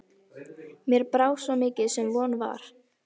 Mér brá mikið sem von var.